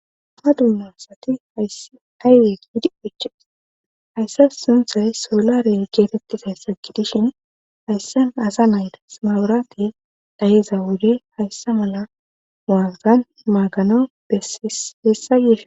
ha dunnasati hays ayweek hidi oches hayssa sunthay soolare geetettisay saggidishin hayssa asa nayda simawurati dhayiza wude hayssa mala muaaggan maagano eheessayeefin